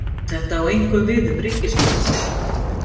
Þetta á einkum við um ríkisskuldabréf.